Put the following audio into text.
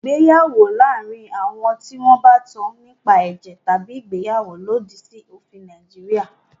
Ìgbéyàwó láàárín àwọn tí wọn bá tán nípa ẹ̀jẹ̀ tabi ìgbéyàwó lòdì sí òfin Nàìjíríà.